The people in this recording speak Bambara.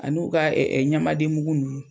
An'u ka ɲamaden mungu ninnu.